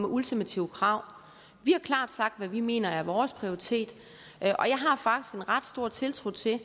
ultimative krav vi har klart sagt hvad vi mener er vores prioritet og ret stor tiltro til